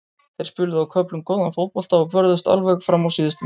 Þeir spiluðu á köflum góðan fótbolta og börðust alveg fram á síðustu mínútu.